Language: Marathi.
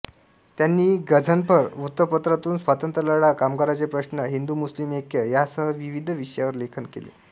त्यांनी गझनफर वृत्तपत्रातून स्वातंत्र्यलढा कामगारांचे प्रश्न हिदुमुस्लिम ऐक्य यासह विविध विषयांवर लेखन केले